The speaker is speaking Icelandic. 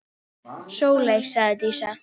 Sóley, sagði Dísa.